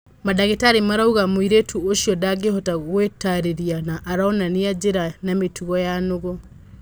Madagĩtarĩ marauga mũirĩtũ ũcio ndangĩhota gwĩtarĩria na aronania njĩra na mĩtũgo ya nũgũ